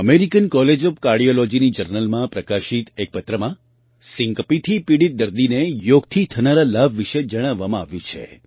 American college of કાર્ડિયૉલૉજીની જર્નલમાં પ્રકાશિત એક પત્રમાં સિન્કપીથી પીડિત દર્દીને યોગથી થનારા લાભ વિશે જણાવવામાં આવ્યું છે